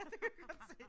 Det var godt set